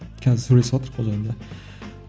қазір ол жайында